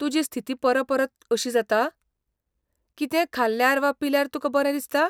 तुजी स्थिती परपरत अशी जाता? कितेंय खाल्यार वा पिल्यार तुका बरें दिसता?